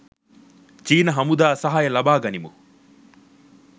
චීන හමුදා සහාය ලබා ගනිමු